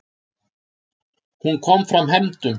Hún komi fram hefndum.